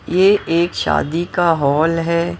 ये एक शादी का हॉल है।